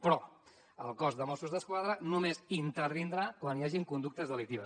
però el cos de mossos d’esquadra només intervindrà quan hi hagi conductes delictives